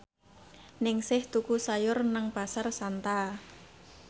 Ningsih tuku sayur nang Pasar Santa